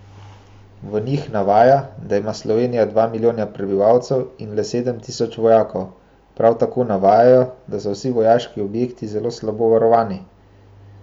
V njih navaja, da ima Slovenija dva milijona prebivalcev in le sedem tisoč vojakov, prav tako navajajo, da so vsi vojaški objekti zelo slabo varovani.